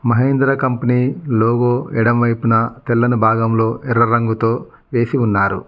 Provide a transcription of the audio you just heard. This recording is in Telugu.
మహేంద్ర కంపెనీ లోగో ఎడమవైపున తెల్లని భాగంలో ఎర్ర రంగుతో వేసి ఉన్నారు.